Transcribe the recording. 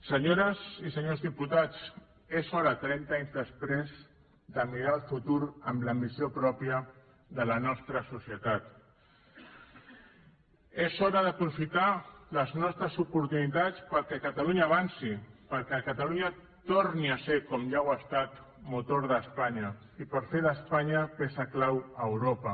senyores i senyors diputats és hora trenta anys després de mirar el futur amb l’ambició pròpia de la nostra societat és hora d’aprofitar les nostres oportunitats perquè catalunya avanci perquè catalunya torni a ser com ja ho ha estat motor d’espanya i per fer d’espanya peça clau a europa